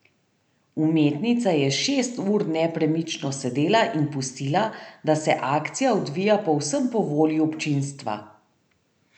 Umetnica je šest ur nepremično sedela in pustila, da se akcija odvija povsem po volji občinstva.